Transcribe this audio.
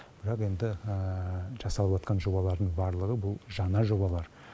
бірақ енді жасалыватқан жобалардың барлығы бұл жаңа жобалар